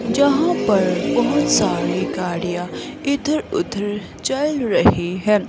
जहां पर बहुत सारी गाड़ियां इधर-उधर चल रही है।